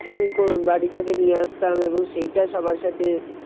Tiffin বাড়ি থেকে নিয়ে আসতাম এবং সেইটা সবার সাথে